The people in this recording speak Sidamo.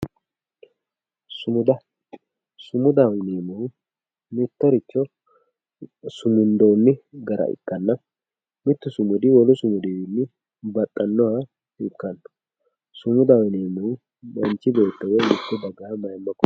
sumuds sumudsho yineemmohu mittoricho sumundoonni gara ikkanna mittu sumudi mittu sumudi wolu sumudiwiinni baxxannoha ikkanno sumudaho yineemmohu manchi beetto woyi mitte dagaha mayiimma kulanno.